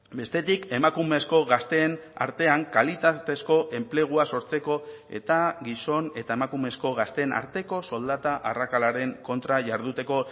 bestetik emakumezko gazteen artean kalitatezko enplegua sortzeko eta gizon eta emakumezko gazteen arteko soldata arrakalaren kontra jarduteko